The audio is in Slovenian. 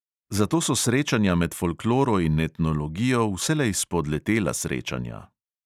Zato so srečanja med folkloro in etnologijo vselej "spodletela srečanja".